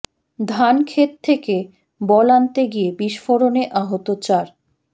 ধান ক্ষেত থেকে বল আনতে গিয়ে বিস্ফোরণে আহত চার